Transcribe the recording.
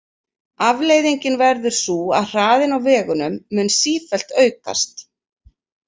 Afleiðingin verður sú að hraðinn á vegunum mun sífellt aukast.